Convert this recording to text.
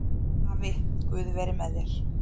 Afi, guð veri með þér